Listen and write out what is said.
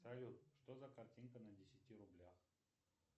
салют что за картинка на десяти рублях